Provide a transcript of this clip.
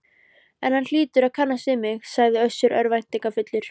En hann hlýtur að kannast við mig, sagði Össur örvæntingarfullur.